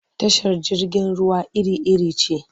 Tashar jirgin ruwa iri-iri ce.